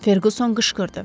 Ferquson qışqırdı.